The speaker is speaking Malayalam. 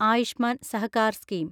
ആയുഷ്മാൻ സഹകാർ സ്കീം